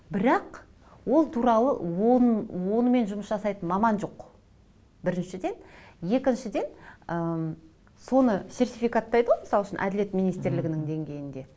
бірақ ол туралы оның онымен жұмыс жасайтын маман жоқ біріншіден екіншіден ы соны сертификаттайды ғой мысал үшін әділет министрлігінің деңгейінде